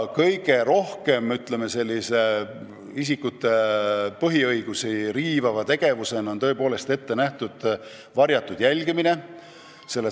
Kõige rohkem riivab isikute põhiõigusi tõepoolest varjatud jälgimine.